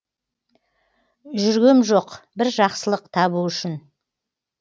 жүргем жоқ бір жақсылық табу үшін